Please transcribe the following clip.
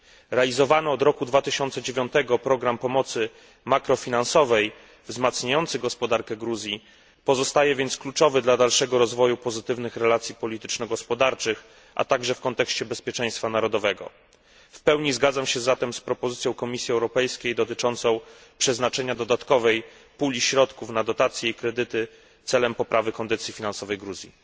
Realizowany od roku 2009 program pomocy makrofinansowej wzmacniający gospodarkę Gruzji pozostaje więc kluczowy dla dalszego rozwoju pozytywnych relacji polityczno gospodarczych, a także w kontekście bezpieczeństwa narodowego. W pełni zgadzam się zatem z propozycją Komisji Europejskiej dotyczącą przeznaczenia dodatkowej puli środków na dotacje i kredyty celem poprawy kondycji finansowej Gruzji.